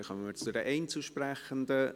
Dann kommen wir zu den Einzelsprechenden.